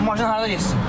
Maşın hara getsin?